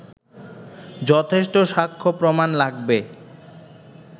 যথেষ্ট সাক্ষ্য প্রমাণ লাগবে